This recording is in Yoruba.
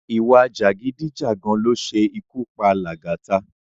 Ìwà jàgídíjàgan ló ṣe ikú pa Lagata